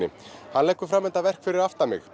hann leggur fram þetta verk fyrir aftan mig